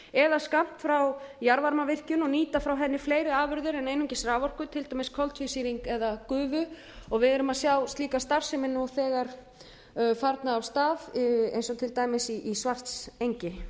eða skammt frá jarðvarmavirkjun og nýta frá henni fleiri afurðir en einungis raforku til dæmis koltvísýring eða gufu við sjáum líka slíka starfsemi nú þegar farna af stað eins og til dæmis í svartsengi